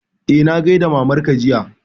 Eh, na gaida mamar ka jiya